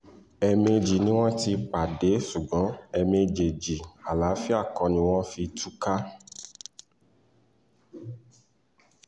ẹ̀ẹ̀mejì ni wọ́n ti pàdé ṣùgbọ́n ẹ̀ẹ̀méjèèjì àlàáfíà kọ́ ni wọ́n fi túká